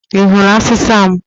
I hụrụ asịsa m?